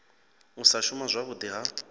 u sa shuma zwavhudi ha